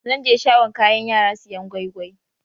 Zan je shagon kayan yara siyan gwai-gwai.